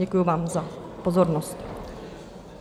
Děkuji vám za pozornost.